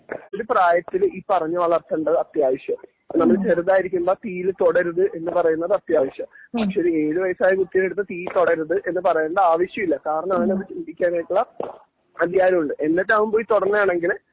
ഒരു പ്രായത്തില് ഈ പറഞ്ഞു വളർത്തേണ്ടത് അത്യാവശ്യമാണ് നമ്മള് ചെറുതായിരിക്കുമ്പോ തീയില് തൊടരുത് എന്ന് പറയുന്നത് അത്യാവശ്യം പക്ഷേ ഒരു ഏഴു വയസ്സായ കുട്ടീടെ അടുത്ത് തീയിൽ തൊടരുത് എന്ന് പറയണ്ട ആവശ്യമില്ല കാരണം അവനത് ചിന്തിക്കാനായിട്ടുള്ള അധികാരം ഉണ്ട് എന്നിട്ടും അവൻ പോയി തൊടണെ ആയത് കൊണ്ട്